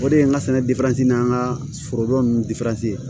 O de ye n ka sɛnɛ n'an ka foro nunnu